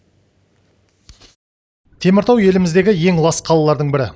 теміртау еліміздегі ең лас қалалардың бірі